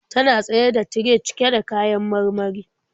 Tana tsaye da tire cike da kayan marmari.